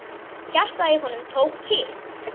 Hjartað í honum tók kipp.